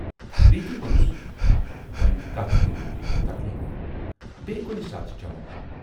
پریتی وونُس وۅنۍ کتَھ کٔرِو تُہۍ تکلیٖف، بییہِ کُنہِ ساتہٕ چَمَو۔